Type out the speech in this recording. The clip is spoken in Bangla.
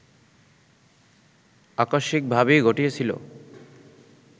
আকস্মিকভাবেই ঘটিয়েছিল